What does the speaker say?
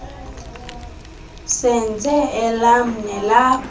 senze elam nelakho